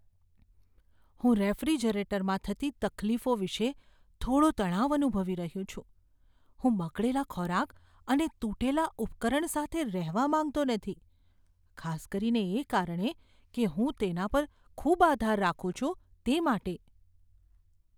હું રેફ્રિજરેટરમાં થતી તકલીફો વિષે થોડો તણાવ અનુભવી રહ્યો છું, હું બગડેલા ખોરાક અને તૂટેલા ઉપકરણ સાથે રહેવા માંગતો નથી, ખાસ કરીને એ કારણે કે હું તેના પર ખૂબ આધાર રાખું છું તે માટે.